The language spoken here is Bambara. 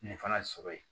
Nin fana sɔrɔ yen